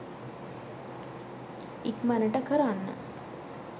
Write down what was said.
ඉක්මනට කරන්න